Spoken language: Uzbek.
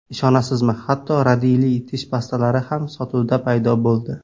Ishonasizmi, hatto radiyli tish pastalari ham sotuvda paydo bo‘ldi.